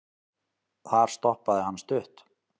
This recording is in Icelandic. þar stoppaði hann stutt